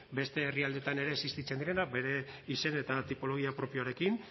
beste herrialdeetan ere existitzen direnak bere izen eta tipologia propioarekin